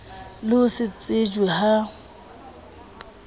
le ho se tsejwe ha